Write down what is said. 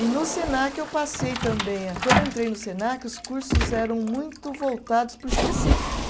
E no Senac eu passei também a. Quando eu entrei no Senac, os cursos eram muito voltados para o específico.